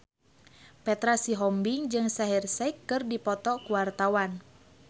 Petra Sihombing jeung Shaheer Sheikh keur dipoto ku wartawan